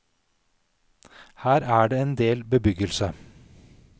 Her er det en del bebyggelse.